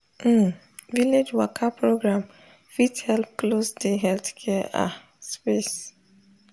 um village waka program fit help close de healthcare ah space.